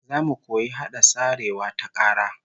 Zamu koyi hada sarewa ta kara